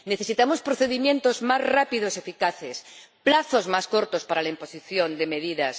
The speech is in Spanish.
Necesitamos procedimientos más rápidos y eficaces, plazos más cortos para la imposición de medidas.